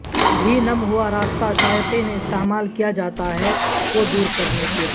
بھی نم ہوا راستہ شائقین استعمال کیا جاتا ہے کو دور کرنے کے لئے